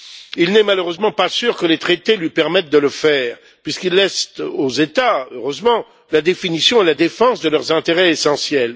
Il n'est malheureusement pas sûr que les traités lui permettent de le faire, puisqu'ils laissent aux États, heureusement, la définition et la défense de leurs intérêts essentiels.